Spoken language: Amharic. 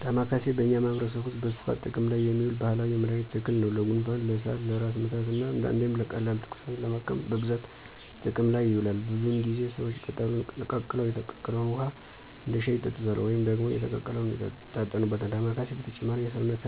ደማከሴ በእኛ ማህበረሰብ ውስጥ በስፋት ጥቅም ላይ የሚውል ባህላዊ የመድኃኒት ተክል ነው። ለጉንፋን፣ ለሳል፣ ለራስ ምታት እና አንዳንዴም ቀላል ትኩሳትን ለማከም በብዛት ጥቅም ላይ ይውላል። ብዙውን ጊዜ ሰዎች ቅጠሉን ቀቅለው የተቀቀለውን ውሃ እንደ ሻይ ይጠጡታል ወይም ደግሞ የተቀቀለውን ይታጠኑበታል። ዳማኬሴ በተጨማሪም የሰውነት